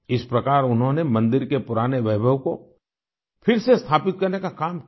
इस प्रकार उन्होंने मंदिर के पुराने वैभव को फिर से स्थापित करने का काम किया